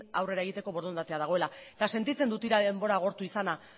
aurrera egiteko borondatea dagoela eta sentitzen dut ia denbora agortu izana